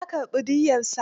Ya karɓi diyyarsa.